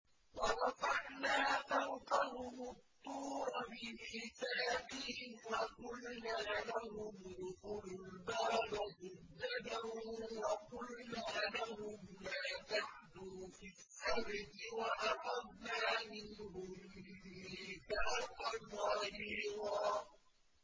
وَرَفَعْنَا فَوْقَهُمُ الطُّورَ بِمِيثَاقِهِمْ وَقُلْنَا لَهُمُ ادْخُلُوا الْبَابَ سُجَّدًا وَقُلْنَا لَهُمْ لَا تَعْدُوا فِي السَّبْتِ وَأَخَذْنَا مِنْهُم مِّيثَاقًا غَلِيظًا